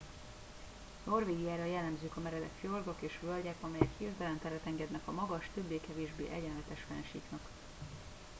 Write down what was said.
norvégiára jellemzők a meredek fjordok és völgyek amelyek hirtelen teret engednek a magas többé kevésbé egyenletes fennsíknak